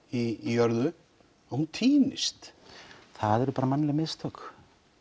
í jörðu týnist það eru bara mannleg mistök